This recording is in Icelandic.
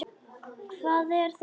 Hvað er það nú?